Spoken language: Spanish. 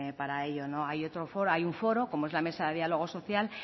para ello hay otro foro hay un foro como es la mesa de dialogo social